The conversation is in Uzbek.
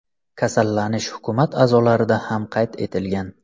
Kasallanish hukumat a’zolarida ham qayd etilgan.